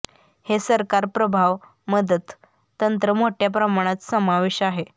हे सरकार प्रभाव मदत तंत्र मोठ्या प्रमाणात समावेश आहे